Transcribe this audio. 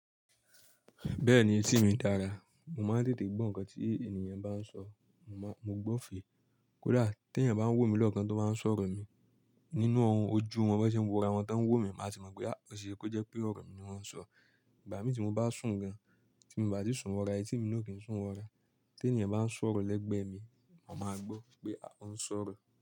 Bẹ́ẹ̀ni etí mi dára, mo máa ń tètè gbọ́ nǹkan tí ènìyàn bá ń sọ, mo gbọ́ fèé. Kódà tí èyàn bá ń wò mí lọ́kan tó bá sọ̀rọ̀ mi nínú ohun ojú wọn bo se wóra wọn tó ń wò mí, màá tì mọ̀ pé, à o seṣé kó jẹ́ pé ọ̀rọ̀ mi ni wọ́n ń sọ. Ìgbà mi tí mo bá sùn gan, tí mo bá ti sùn wọra etí mi ni kò kí n sùn wọra, tí ènìyàn bá ń sọ̀rọ̀ lẹ́gbẹ̀ mi, mà má gbọ́ pé à oun sọ̀rọ̀.